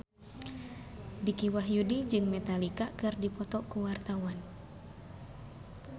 Dicky Wahyudi jeung Metallica keur dipoto ku wartawan